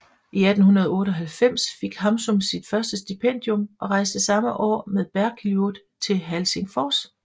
I 1898 fik Hamsun sit første stipendium og rejste samme år med Bergljot til Helsingfors